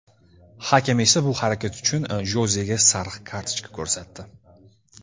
Hakam esa bu harakat uchun Jozega sariq kartochka ko‘rsatdi.